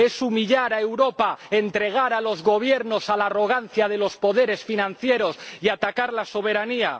Es humillar a Europa entregar a los Gobiernos a la arrogancia de los poderes financieros y atacar la soberanía.